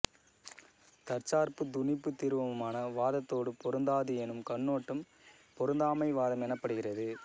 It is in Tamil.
தற்சார்பு துணிபு தீர்மான வாதத்தோடு பொருந்தாது எனும் கண்ணோட்டம் பொருந்தாமை வாதம் எனப்படுகிறது